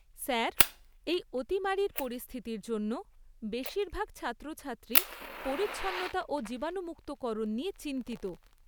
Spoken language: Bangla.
স্যার, এই অতিমারীর পরিস্থিতির জন্য বেশীরভাগ ছাত্রছাত্রী পরিচ্ছন্নতা ও জীবাণুমুক্তকরণ নিয়ে চিন্তিত।